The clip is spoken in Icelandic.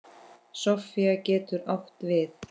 Sofía getur átt við